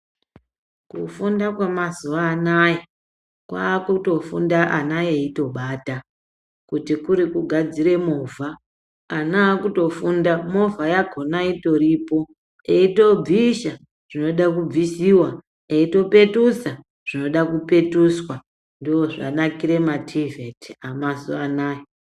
Kufunda kwamazuwa anaya kwaakutofunda ana eitobata. Kuti kuri kugadzire movha, ana aakutofunda movha yakhona itoripo, eitobvisha zvinode kubvisiwa, eitopetusa zvinoda kupetuswa. Ndozvanakire mativheti amazuwa anaya.